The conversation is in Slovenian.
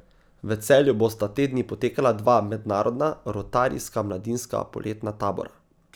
V Celju bosta te dni potekala dva mednarodna rotarijska mladinska poletna tabora.